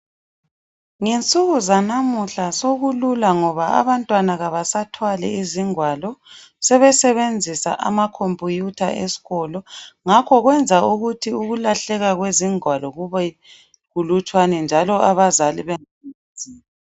Ngensuku zanamuhla sokulula ngoba abantwana kabasathwali izingwalo sebesebenzisa amakhomputha esikolo ngakho kwenza ukuthi ukulahleka kwezingwalo kube kulutshwane njalo abazali